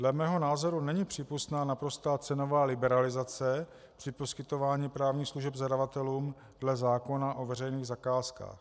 Dle mého názoru není přípustná naprostá cenová liberalizace při poskytování právních služeb zadavatelům dle zákona o veřejných zakázkách.